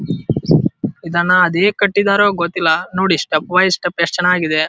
ಇದನ್ನ ಅದ್ ಹೇಗ್ ಕಟ್ಟಿದರೋ ಗೊತ್ತಿಲ್ಲ ನೋಡಿ ಸ್ಟೆಪ್ ವೈಸ್ ಸ್ಟೆಪ್ ಯೆಸ್ಟ್ ಚೆನ್ನಾಗಿದೆ.